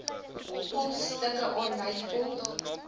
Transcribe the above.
posstukke aanlyn volg